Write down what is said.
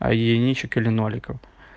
а единичек или ноликов